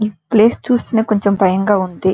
ఈ ప్లేస్ చూస్తే కొంచెం బయం గా ఉంది.